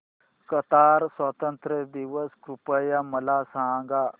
Qatar स्वातंत्र्य दिवस कृपया मला सांगा